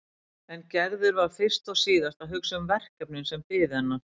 En Gerður var fyrst og síðast að hugsa um verkefnin sem biðu hennar.